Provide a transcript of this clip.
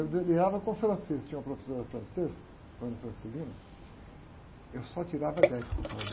Eu delirava com francês, tinha uma professora francesa, dona, eu só tirava dez com ela, né?